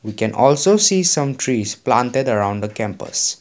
we can also see some trees planted around the campus.